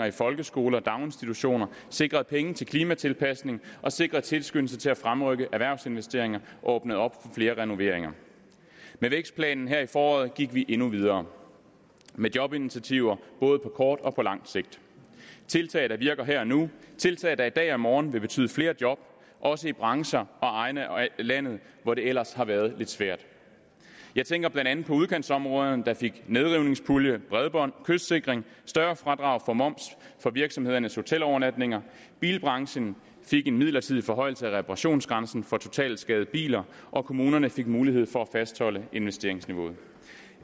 i folkeskole og daginstitutioner sikret penge til klimatilpasning og sikret tilskyndelse til at fremrykke erhvervsinvesteringer og åbne op for flere renoveringer med vækstplanen her i foråret gik vi endnu videre med jobinitiativer både på kort og på lang sigt tiltag der virker her og nu tiltag der i dag og i morgen vil betyde flere job også i brancher og egne af landet hvor det ellers har været lidt svært jeg tænker blandt andet på udkantsområderne der fik nedrivningspulje bredbånd kystsikring større fradrag for moms på virksomhedernes hotelovernatninger bilbranchen fik en midlertidig forhøjelse af reparationsgrænsen for totalskadede biler og kommunerne fik mulighed for at fastholde investeringsniveauet